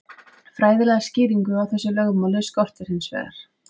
Fræðilega skýringu á þessu lögmáli skorti hins vegar.